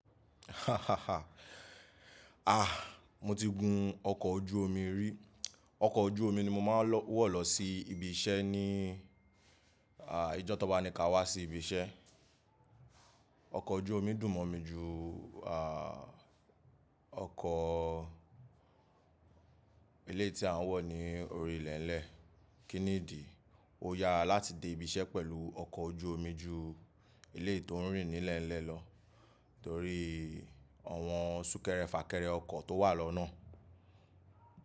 Ah, mo ti gun ọkọ̀ ojú omi rí. Ọkọ̀ ojú omi ni mo máa ń wọ̀ lọ sí ibi iṣẹ́ ní ìjọ́ ti wọn bá ni kí a wá sí ibi iṣẹ́. Ọkọ̀ ojú omi dùn mọ́ mi ju ah ọkọ̀ eleyii tí a ń wọ̀ ní orí ilẹ̀ lẹ́ẹ̀. Kí nìdí? Ó yára láti dé ibi iṣẹ́ pẹ̀lú ọkọ̀ ojú omi ju Eleyii tó ń rìn nílẹ̀ lẹ́ẹ̀ lọ torí àwọn súnkẹrẹ fàkẹrẹ ọkọ̀ tó wà lọ́nà.